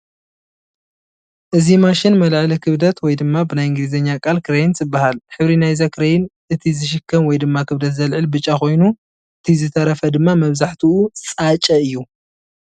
እዚ ማሽን መልዐሊ ክብደት ወይ ድማ ብናይ እንግሊዝኛ ቃል ክረይን ትበሃል፡፡ ሕብሪ ናይዛ ክረይን እቲ ዝሽከም ወይ ድማ ክብደት ዘልዕል ብጫ ኮይኑ እቲ ዝተረፈ ድማ መብዛሕትኡ ፃጨ እዩ፡፡